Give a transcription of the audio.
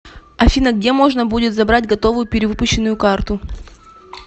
афина где можно будет забрать готовую перевыпущенную карту